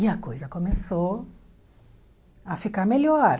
E a coisa começou a ficar melhor.